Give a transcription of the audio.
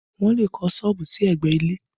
Wọn le kọ́ sọ́ọ̀bù sí ẹgbẹ́ ilé